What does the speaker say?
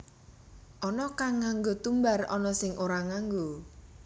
Ana kang nganggo tumbar ana sing ora nganggo